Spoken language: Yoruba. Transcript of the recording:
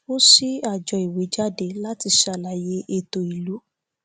a ṣí àjọ ìwé jáde láti ṣàlàyé ètò ìlú